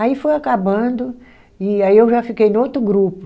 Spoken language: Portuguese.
Aí foi acabando, e aí eu já fiquei no outro grupo.